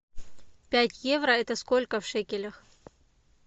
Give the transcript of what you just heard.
пять евро это сколько в шекелях